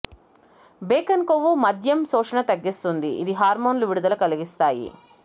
bacon కొవ్వు మద్యం శోషణ తగ్గిస్తుంది ఇది హార్మోన్లు విడుదల కలిగిస్తాయి